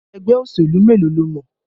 Ẹgbẹ́ òṣèlú mélòó lo mọ̀?